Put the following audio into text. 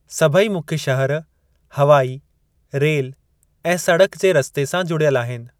सभेई मुख्य शहर हवाई, रेल ऐं सड़क जे रस्ते सां जुड़ियलु आहिनि।